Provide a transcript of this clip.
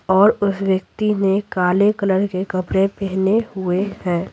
और उस व्यक्ति ने काले कलर के कपड़े पहने हुए हैं।